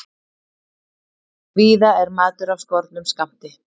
Víða er matur af skornum skammti